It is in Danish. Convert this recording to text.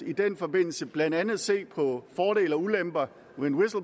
i den forbindelse blandt andet se på fordele og ulemper